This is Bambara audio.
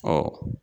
Ɔ